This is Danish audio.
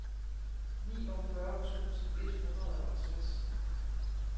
niogfyrre tusind et hundrede og tres